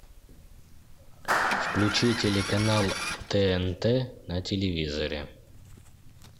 включи телеканал тнт на телевизоре